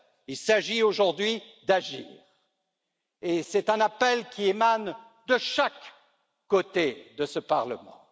il s'agit aujourd'hui d'agir et c'est un appel qui émane de chaque côté de ce Parlement.